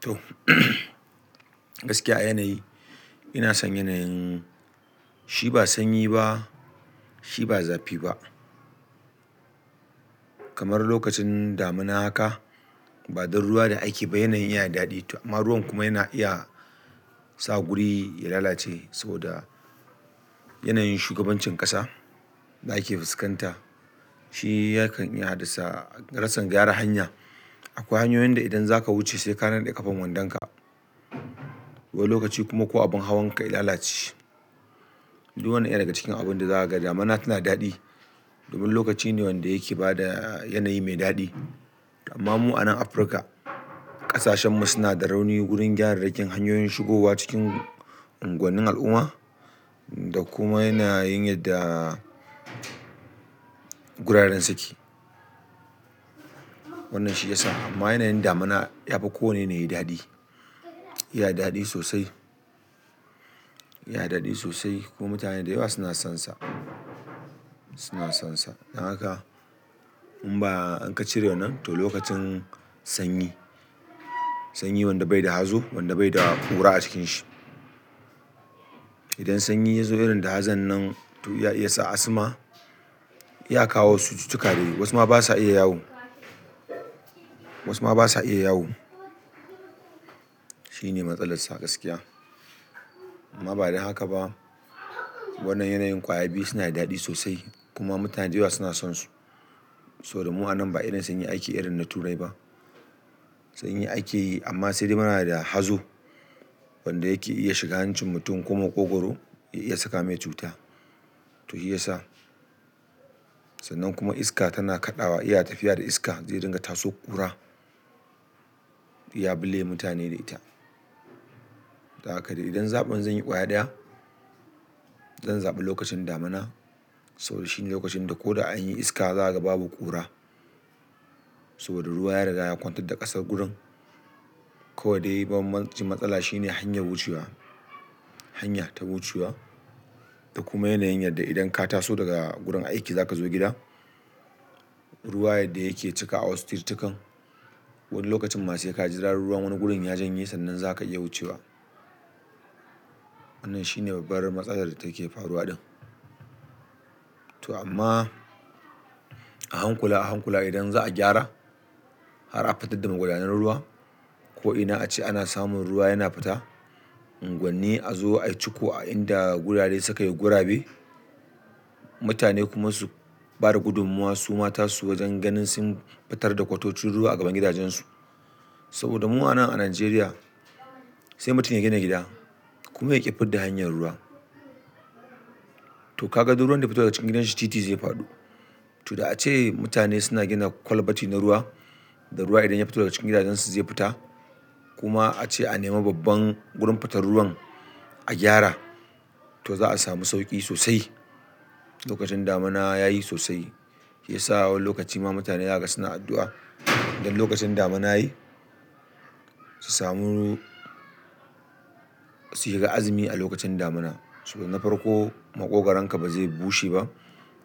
To gaskiya a yanayi, ina son yanayin. Shi ba sanyi ba, shi ba zafi ba. Kamar lokacin damuna haka, ba don ruwa da aiki ba yanayin yana da daɗi. Amma ruwan kuma yana iya sa guri ya lalace saboda yanayin shugabancin ƙasa da ake fuskanta. Shi hakan iya haddasa rassan gyara hanya. Akwai hanyoyin da idan zaka wuce sai ka naɗe ƙafan wandonka. Wani lokaci kuma ko abin hawan ka ya lalace. Duk wannan yana daga cikin abun da za a ga. Damuna tana daɗi. Domin lokaci ne wanda yake ba da yanayi mai daɗi. Amma mu a nan Afirka, ƙasashen mu suna da rauni wurin gyara dakin hanyoyin shigowa cikin unguwannin al'umma da kuma yanayin yadda guraren suke. Wannan shi ya sa amma yanayin damuna ya fi kowanne ya yi daɗi. Ya daɗe sosai. Ya daɗe sosai kuma mutane da yawa suna sonsa, suna sonsa. Don haka in ba an ka cirewa nan, to lokacin sanyi. Sanyi wanda bai da hazo, wanda bai da ƙura a cikin shi. Idan sanyi ya zo irin da hazon nan to ya iya sa asma, iya kawo wasu cutuka da wasu ma ba sa iya yawo. Wasu ma ba sa iya yawo. Shi ne matsalar sa gaskiya. Amma ba dan haka ba. Wannan yanayin ƙwaya biyu suna da daɗi sosai kuma mutane da yawa suna sonsu. Saboda mu a nan ba irin sanyi ake irin na Turai ba. Sanyi ake yi amma sai dai muna da hazo wanda yake iya shiga hancin mutum ko maƙogwaro ya iya saka mai cuta. To shi ya sa. Sannan kuma iska tana kaɗawa. Iya tafiya da iska zai dinga ta so ƙura. Ya bule mutane da ita. Don haka dai idan zaɓin zanyi ƙwaya ɗaya, zan zaɓi lokacin damuna. Saboda shi ne lokacin da ko da an yi iska, za ka ga babu ƙura. Saboda ruwa ya riga ya kwantar da ƙasar gurin. Ko da dai ban ban cin matsala shi ne hanyar wucewa. Hanya ta wucewa da kuma yanayin yadda idan ka taso daga gurin aiki za ka zo gida, ruwa yadda yake cika a wasu tiretakan. Wani lokacin ma sai ka jira ruwan wani gurin ya janye sannan za ka iya wucewa. Wannan shi ne babbar matsalar da take faruwa ɗin. To amma a hankula, a hankula idan za a gyara, har a fitar da magwadanan ruwa ko idan a ce ana samun ruwa yana fita, unguwanni a zo a ciko a inda gurare suka yi gurabe. Mutane kuma su bada gudummawa suma ta su wajen ganin sun fitar da kwatocin ruwa a gaban gidajensu. Saboda mu a nan a Najeriya, sai mutum ya gina gida kuma yaƙi fidda hanyar ruwa. To ka duk ruwan da ya fito daga cikin gidanshi titi zai faɗo. To da ace mutane suna gina kwalbati na ruwa, da ruwa idan ya fito daga cikin gidajensu zai fita. Kuma a ce a nemi babban gurin fatar ruwan a gyara, to za a sami sauƙi sosai. Lokacin damuna yayi sosai. Shi ya sa a wani lokaci ma mutane zaka ga suna addu'a. Idan lokacin damuna yayi, su samu-- su shiga azumi a lokacin damuna. Saboda na farko maƙogaronka ba zai bushe ba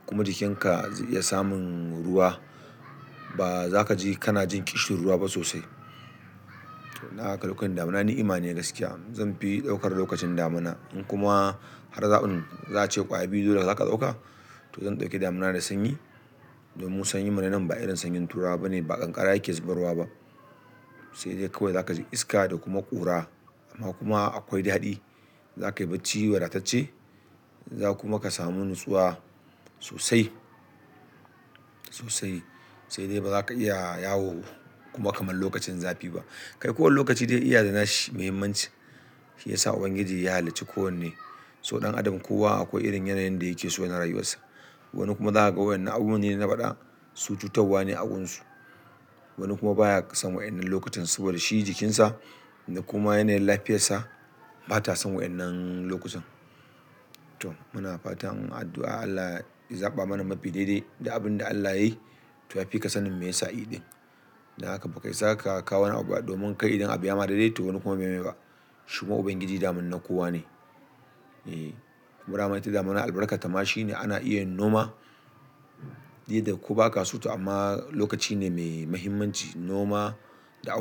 kuma jikinka zai iya samun ruwa. Baza kaji kuma iska tana kaɗawa. Iya tafiya da iska zai dinga ta so ƙura. To naka lokacin damuna ni imani ne gaskiya. Zanfi ɗaukar lokacin damuna. In kuma har zaɓin za a ce ƙwaya biyu dole za ka ɗauka, to zan ɗauki damuna da sanyi. Domin sanyin mu na nan ba irin sanyin Turawa bane, ba ƙanƙara yake zubarwa ba. Sai dai kawai za ka ji iska da kuma ƙura amma kuma akwai daɗi. Za ka yi bacci wadatacce, za kuma ka samu nutsuwa sosai, sosai. Sai dai ba za ka iya yawo kuma kamar lokacin zafi ba. Kai kowane lokaci dai iya yana da shi muhimmanci. Shi ya sa Ubangiji ya halicci kowanne. So ɗan adam kowa akwai irin yanayin da yake so yana rayuwarsa. Wani kuma za ka ga waɗannan abu manyi na faɗa, cututtuwa ne a gunsu. Wani kuma baya son wa yan'nan lokutan saboda shi jikinsa da kuma yanayin lafiyarsa bata son wa yan nan lokutan. To muna fatan addu'a Allah ya zaɓa mana mafi daidai da abin da Allah ya yi. To fika sanin me ya sa yi ɗin. Don haka baka isa ka kawo wani abu ba domin kai idan abu ya ma daidai to wani kuma bai yi mai ba. Shi ma Ubangiji daman na kowa ne. E, burama ita damuna albarkarta ma shi ne ana iya noma. Di, yadda ko ba ka so to amma lokaci ne mai muhimmanci noma da a.